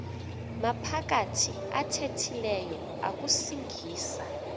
maphakathi athethileyo akusingisa